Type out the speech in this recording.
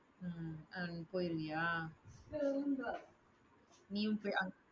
உம் அதுக்கு போயிருவியா? நீயும் போ~ அஹ்